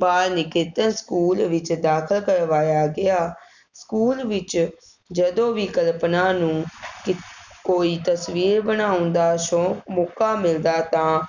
ਬਾਲ Niketan school ਵਿੱਚ ਦਾਖਲ ਕਰਵਾਇਆ ਗਿਆ, ਸਕੂਲ ਵਿੱਚ ਜਦੋਂ ਵੀ ਕਲਪਨਾ ਨੂੰ ਕੋਈ ਤਸਵੀਰ ਬਣਾਉਣ ਦਾ ਸੌਂਕ ਮੌਕਾ ਮਿਲਦਾ ਤਾਂ